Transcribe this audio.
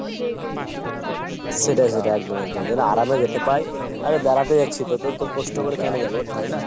সেটাই সেটাই একদম একদম। যেন আরামে যেতে পায়। আরে বেড়াতে যাচ্ছি তো তো অত কষ্ট করে কোনো যাবো তাই না ?